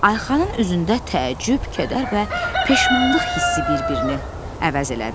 Ayxanın üzündə təəccüb, kədər və peşmanlıq hissi bir-birini əvəz elədi.